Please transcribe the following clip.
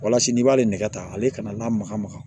Walasa n'i b'ale nɛgɛ tan ale kana maka maga